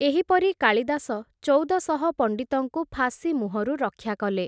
ଏହିପରି କାଳିଦାସ, ଚଉଦଶହ ପଣ୍ଡିତଙ୍କୁ ଫାଶୀ ମୁହଁରୁ ରକ୍ଷା କଲେ ।